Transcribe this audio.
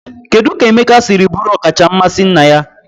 Kedu ka Emeka siri bụrụ ọkacha mmasị nna ya?